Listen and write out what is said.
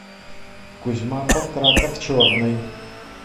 кузьма панкратов черный